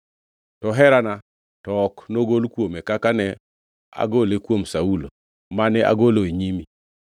To herana to ok nogol kuome kaka ne agole kuom Saulo, mane agolo e nyimi.